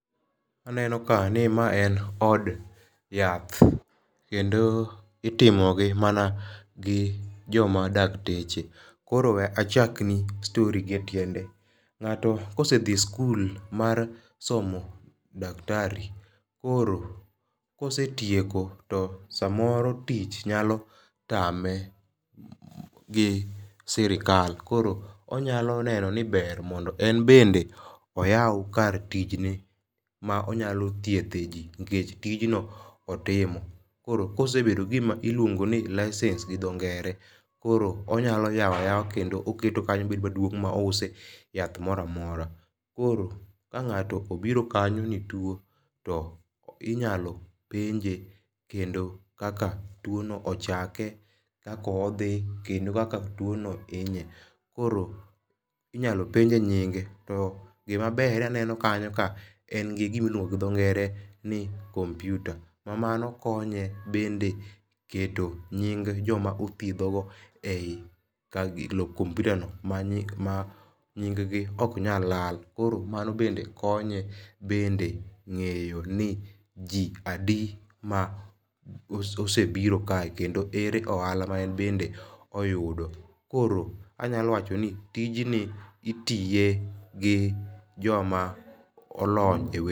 Aneno ka ni ma en od yath. Kendo itimo gi mana gi joma dakteche. Kor we achakni stori gi etiende. Ng'ato kose dhi e skul mar somo daktari. Koro kosetieko to samoro tich nyalo tame gi sirikal koro onyalo neno ni ber mondo en bende oyaw kar tichne ma onyalo thiedhe ji nikech tijno otimo. Koro ka osebedo gi gima iluongo ni license gi dho ngere. Koro onyalo yaw a yawa kendo oketo kanyo bedo maduong' ma ouse yath moro amora. Koro ka ng'ato obiro kanyo ni otuo. To inyalo penje kendo kaka tuo no ochake, kaka odhi kendo kaka tuo no hinye. Koro inyalo penje nyinge. To gima ber aneno kanyo ka en gi gima iluongo gi dho ngere ni kompyuta. Ma mano konye bende keto nying joma othiedho go eyi kompyuta no ma nying gi ok nyal lal. Koro mano be konye bende ng'eyo ni ji adi ma osebiro kae kendo ere ohala ma en bende oyudo. Koro anyalo wacho ni tijni itiye gi joma olony.